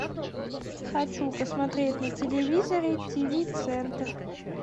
хочу посмотреть на телевизоре тиви центр